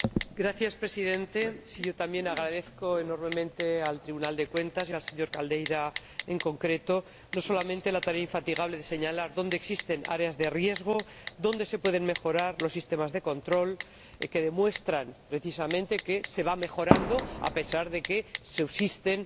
Señor Presidente, yo también agradezco enormemente al Tribunal de Cuentas y al señor Silva Caldeira, en concreto, no solamente la tarea infatigable de señalar dónde existen áreas de riesgo, dónde se pueden mejorar los sistemas de control, que demuestran precisamente que se va mejorando, a pesar de que subsisten